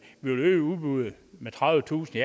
vil øge udbuddet med tredivetusind